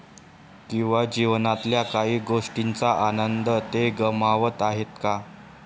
किंवा जीवनातल्या काही गोष्टींचा आनंद ते गमावत आहेत का?